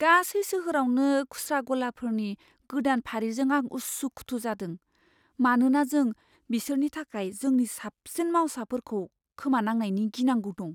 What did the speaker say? गासै सोहोरावनो खुस्रा गलाफोरनि गोदान फारिजों आं उसुखुथु जादों, मानोना जों बिसोरनि थाखाय जोंनि साबसिन मावसाफोरखौ खोमानांनायनि गिनांगौ दं।